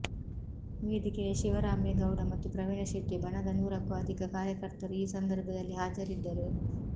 ವೇದಿಕೆಯ ಶಿವರಾಮೇಗೌಡ ಮತ್ತು ಪ್ರವೀಣ ಶೆಟ್ಟಿ ಬಣದ ನೂರಕ್ಕೂ ಅಧಿಕ ಕಾರ್ಯಕರ್ತರು ಈ ಸಂದರ್ಭದಲ್ಲಿ ಹಾಜರಿದ್ದರು